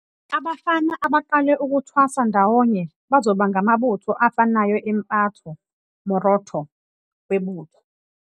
Abafana abaqale ukuthwasa ndawonye bazoba ngamabutho afanayo emphato, moroto, webutho.